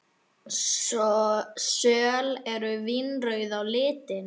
Söl eru vínrauð á litinn.